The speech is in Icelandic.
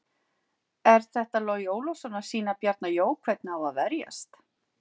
Er þetta Logi Ólafsson að sýna Bjarna Jó hvernig á að verjast?